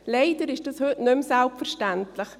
Leider ist dies heute nicht mehr selbstverständlich.